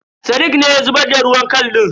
Sadiq ne ya zubar da ruwan kal din.